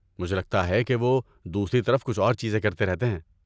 مجھے لگتا ہے کہ وہ دوسری طرف کچھ اور چیزیں کرتے رہتے ہیں۔